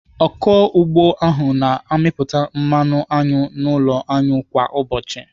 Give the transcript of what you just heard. Ọkụ ugbo ahụ na-amịpụta mmanụ aṅụ n'ụlọ aṅụ kwa ụbọchị.